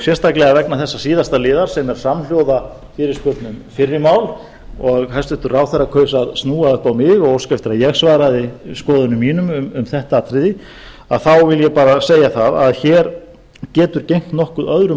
sérstaklega vegna þessa síðasta liðar sem er samhljóða fyrirspurn um fyrri mál og hæstvirtur ráðherra kaus að snúa upp á mig og óska eftir að ég svaraði skoðunum mínum um þetta atriði vil ég bara segja það að hér getur gegnt nokkuð öðru